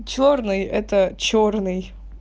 чёрный это чёрный